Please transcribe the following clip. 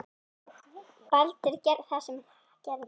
Baldur gerði það sem hann gerði.